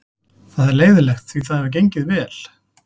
Það er leiðinlegt því það hefur gengið vel.